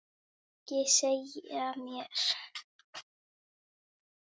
Ekki segja mér